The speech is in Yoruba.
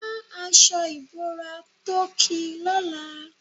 Wa aṣọ ìbora tó ki lọ́la.